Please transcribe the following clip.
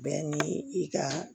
Bɛɛ ni i ka